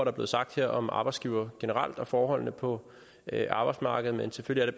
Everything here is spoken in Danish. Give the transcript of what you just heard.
er blevet sagt her om arbejdsgivere generelt og forholdene på arbejdsmarkedet men selvfølgelig